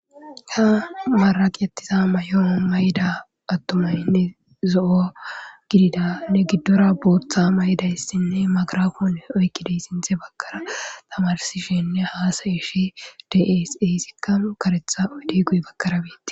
Haa mareqetiza mayo mayida atumayinne zo'o gidida nee gidora boththa mayidayissinne mayigira pone oyikidayissinne haa xellishshe dizayissa besees.